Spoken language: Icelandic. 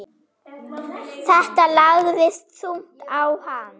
Þetta lagðist þungt á hann.